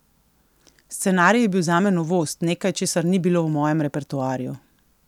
Scenarij je bil zame novost, nekaj česar ni bilo v mojem repertoarju.